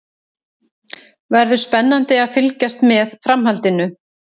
Verður spennandi að fylgjast með framhaldinu.